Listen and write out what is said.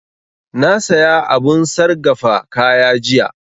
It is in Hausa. Na saya abun sargafa kaya jiya